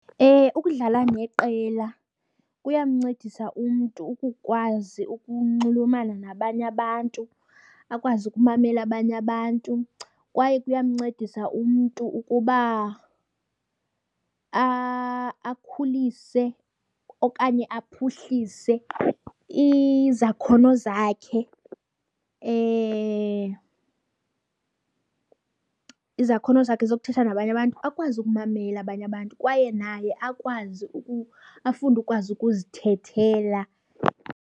Ukudlala neqela kuyamncedisa umntu ukukwazi ukunxulumana nabanye abantu, akwazi ukumamela abanye abantu. Kwaye kuyamncedisa umntu ukuba akhulise okanye aphuhlise izakhono zakhe, izakhono zakhe zokuthetha nabanye abantu akwazi ukumamela abanye abantu kwaye naye akwazi ukuba afunde ukwazi ukuzithethelela.